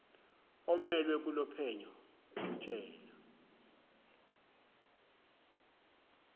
omelwe kulolophenyo amtshele